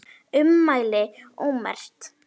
Ummæli ómerkt